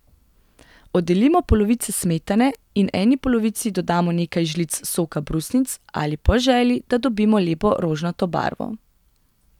Oddelimo polovico smetane in eni polovici dodamo nekaj žlic soka brusnic ali po želji, da dobimo lepo rožnato barvo.